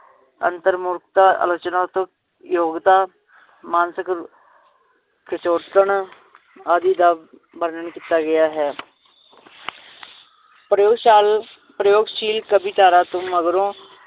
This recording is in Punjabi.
ਅੰਤਰਮੁਰਖਤਾ, ਆਲੋਚਨਾਤ ਯੋਗਤਾ, ਮਾਨਸਿਕ ਆਦਿ ਦਾ ਵਰਨਣ ਕੀਤਾ ਗਿਆ ਹੈ ਪ੍ਰਯੋਗਸ਼ਾਲ~ ਪ੍ਰਯੋਗਸ਼ੀਲ ਕਵੀ ਧਾਰਾ ਤੋਂ ਮਗਰੋਂ